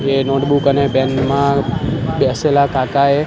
બે નોટબુક અને પેન માં બેસેલા કાકાએ --